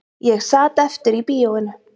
Ég sat eftir í bíóinu